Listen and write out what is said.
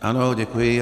Ano, děkuji.